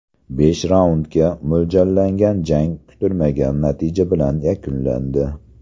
Besh raundga mo‘ljallangan jang kutilmagan natija bilan yakunlandi.